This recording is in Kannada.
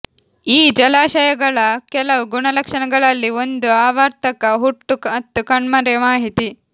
ಈ ಜಲಾಶಯಗಳ ಕೆಲವು ಗುಣಲಕ್ಷಣಗಳಲ್ಲಿ ಒಂದು ಆವರ್ತಕ ಹುಟ್ಟು ಮತ್ತು ಕಣ್ಮರೆ ಮಾಹಿತಿ